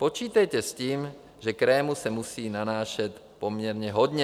Počítejte s tím, že krému se musí nanášet poměrně hodně.